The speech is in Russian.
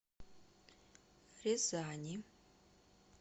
рязани